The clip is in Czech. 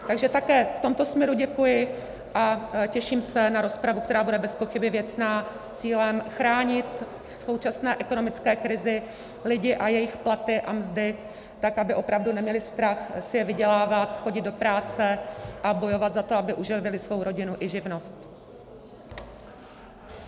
Takže také v tomto směru děkuji a těším se na rozpravu, která bude bezpochyby věcná, s cílem chránit v současné ekonomické krizi lidi a jejich platy a mzdy tak, aby opravdu neměli strach si je vydělávat, chodit do práce a bojovat za to, aby uživili svou rodinu i živnost.